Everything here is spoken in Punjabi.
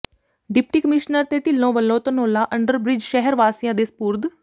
ਡਿਪਟੀ ਕਮਿਸ਼ਨਰ ਤੇ ਢਿੱਲੋਂ ਵਲੋਂ ਧਨੌਲਾ ਅੰਡਰ ਬਿ੍ਜ ਸ਼ਹਿਰ ਵਾਸੀਆਂ ਦੇ ਸਪੁਰਦ